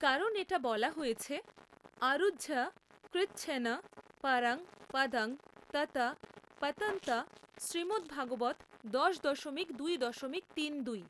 কারণ এটা বলা হয়েছে আরুহ্য কৃচ্ছ্রেণ পরং পদং ততঃ পতন্ত্য শ্রীমদভাগবত দশ দশমিক দুই দশমিক তিন দুই।